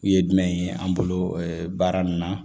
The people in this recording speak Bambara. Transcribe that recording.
U ye jumɛn ye an bolo baara nin na